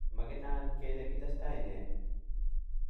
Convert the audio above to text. maginan kele kitesetai nee